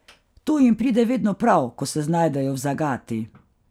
To jim pride vedno prav, ko se znajdejo v zagati.